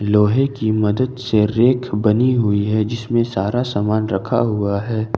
लोहे की मदद से रेक बनी हुई है जिसमें सारा सामान रखा हुआ है ।